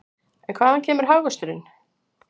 En hvaðan kemur hagvöxturinn?